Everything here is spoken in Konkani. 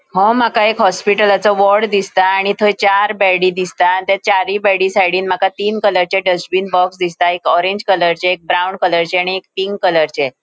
ह्यो माका एक हॉस्पिटलाचो वार्ड दिसता आणि थय चार बेड़ी दिसता आणि चारी बेड़ी साइडीन माका तीन कलरचे डस्ट्बिन बॉक्स दिसता एक ऑरेंज कलरचे एक ब्राउन कलरचे आणि पिंक कलरचे .